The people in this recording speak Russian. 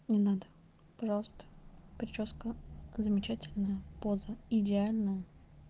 не надо пожалуйста причёска замечательная поза идеальная